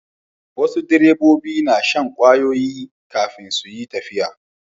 Wasu direbobi na shan ƙwayoyi kafin su yi tafiya.